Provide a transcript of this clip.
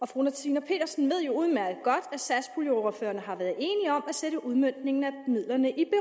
fru tina petersen ved jo udmærket godt at satspuljeordførerne har været at sætte udmøntningen af midlerne i